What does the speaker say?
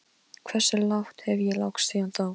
Hversu lágt hef ég lagst síðan þá?